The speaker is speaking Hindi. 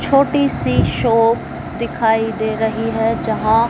छोटी सी शॉप दिखाई दे रही है यहां--